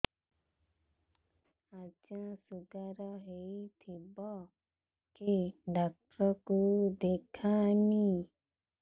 ଆଜ୍ଞା ଶୁଗାର ହେଇଥିବ କେ ଡାକ୍ତର କୁ ଦେଖାମି